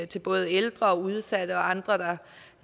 til både ældre udsatte og andre